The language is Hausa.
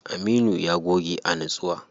Aminu ya goge a nitsuwa.